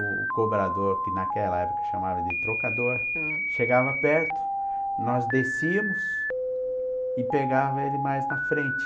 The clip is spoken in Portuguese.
o cobrador, que naquela época chamava de trocador, hm, chegava perto, nós descíamos e pegava ele mais na frente.